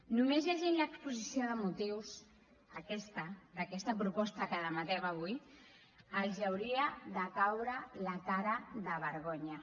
només llegint l’exposició de motius aquesta d’aquesta proposta que debatem avui els hauria de caure la cara de vergonya